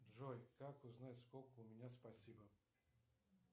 джой как узнать сколько у меня спасибо